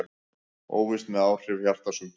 Óvíst með áhrif á hjartasjúkdóma